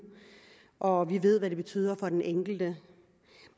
og vi ved hvad det betyder for den enkelte